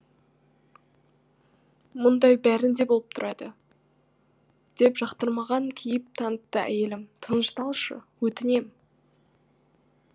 мұндай бәрінде боп тұрады деп жақтырмаған кейіп танытты әйелім тынышталшы өтінем